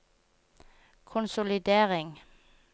konsolidering